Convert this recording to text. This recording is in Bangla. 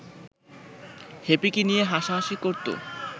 হ্যাপিকে নিয়ে হাসাহাসি করতো